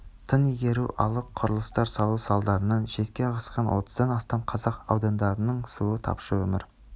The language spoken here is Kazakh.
тың игеру алып құрылыстар салу салдарынан шетке ығысқан отыздан астам қазақ аудандарының суы тапшы өмір